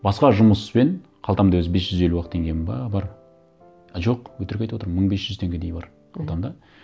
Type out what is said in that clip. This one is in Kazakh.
басқа жұмыспен қалтамда өзі бес жүз елу ақ теңгем бе бар а жоқ өтірік айтып отырмын мың бес жүз теңгедей бар мхм қалтамда